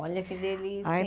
Olha que delícia, hein?